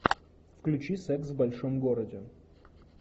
включи секс в большом городе